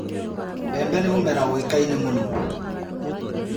Mbembe nĩ mũmera ũĩkaine mũno.